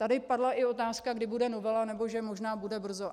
Tady padla i otázka, kdy bude novela, nebo že možná bude brzo.